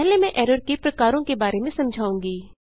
पहले मैं एरर के प्रकारों के बारे में समझाऊँगी